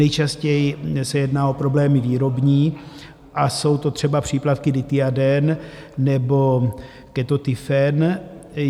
Nejčastěji se jedná o problémy výrobní a jsou to třeba přípravky Dithiaden nebo Ketotifen.